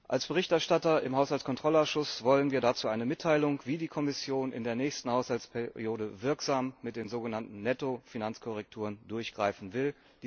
Als Berichterstatter im Haushaltkontrollausschuss wollen wir dazu eine Mitteilung, wie die Kommission in der nächsten Haushaltsperiode wirksam bei den sogenannten Nettofinanzkorrekturen durchgreifen will.